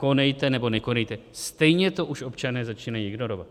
Konejte nebo nekonejte, stejně to už občané začínají ignorovat.